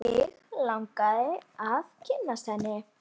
Mig langaði að kynnast henni.